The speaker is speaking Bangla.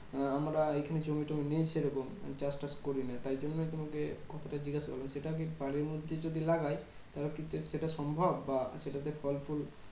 আহ আমরা এইখানে জমি টমি নেই সেরকম চাষ তাষ করিনা। তাই জন্য তোমাকে কথাটা জিজ্ঞাসা করলাম। সেটা আমি বাড়ির মধ্যে যদি লাগাই তাহলে কি সেটা সম্ভব? বা সেটাতে ফল ফুল